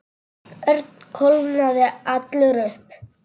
Örn kólnaði allur upp.